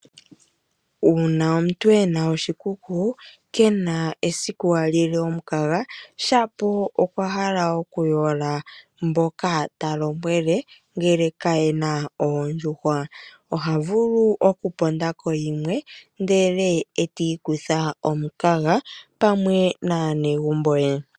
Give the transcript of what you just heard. Uuna omuntu ena oshikuku, kena esiku a li le omukaga shapo okwa hala oku yola mboka ta lombwele ngele ka yena oondjuhwa. Oha vulu oku ponda ko yimwe ndele e ti i kutha omukaga pamwe naanegumbo ye.